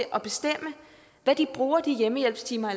at de bruger de hjemmehjælpstimer